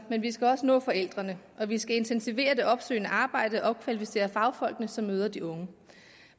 men vi skal også nå forældrene og vi skal intensivere det opsøgende arbejde og opkvalificere de fagfolk som møder de unge